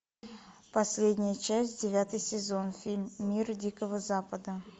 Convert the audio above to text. последняя часть девятый сезон фильм мир дикого запада